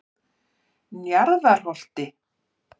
Njarðarholti